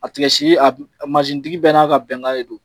A tigasi mansintigi bɛɛ n'a ka bɛnkan de don